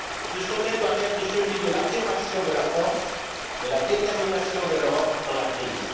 Ce sommet doit être celui de l'affirmation de la force et de la détermination de l'Europe dans la crise.